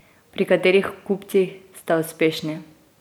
Pri katerih kupcih ste uspešni?